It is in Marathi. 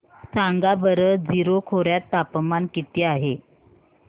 सांगा बरं जीरो खोर्यात तापमान किती आहे